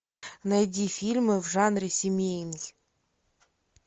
найди фильмы в жанре семейный